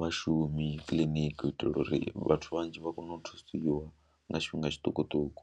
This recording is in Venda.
vhashumi kiḽiniki u itela uri vhathu vhanzhi vha kone u thusiwa nga tshifhinga tshiṱukuṱuku.